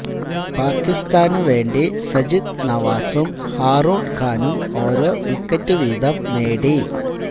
പാകിസ്ഥാനുവേണ്ടി സജിദ് നവാസും ഹാറൂണ് ഖാനും ഓരോ വിക്കറ്റ് വീതം നേടി